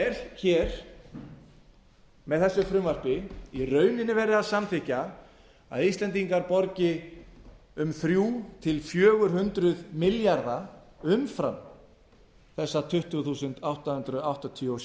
er hér með þessu frumvarpi í rauninni verið að samþykkja að íslendingar borgi um þrjú hundruð til fjögur hundruð milljarða umfram þessar tuttugu þúsund átta hundruð áttatíu og